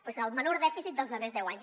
però és el menor dèficit dels darrers deu anys